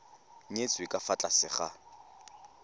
nyetswe ka fa tlase ga